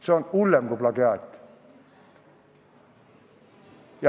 See on hullem kui plagiaat.